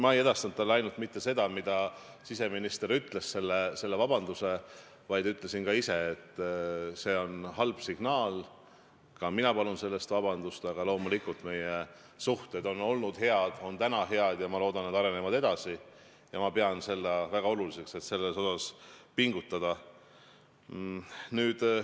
Ma ei edastanud talle ainult mitte seda, mida siseminister ütles, seda vabandust, vaid ütlesin ka ise, et see on halb signaal, ka mina palun selle eest vabandust, aga loomulikult on meie suhted olnud head, need on täna head ja ma loodan, et need arenevad edasi, ja ma pean väga oluliseks, et selle heaks pingutada.